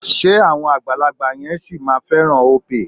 Ṣé àwọn àgbàlagbà yẹn sì máa fẹ́ràn Opay?